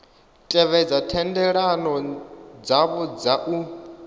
tevhedze thendelano dzavho dza u